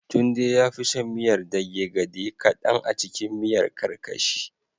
Tunde yafi son miyar dage gade kadan acikin miyar karkashi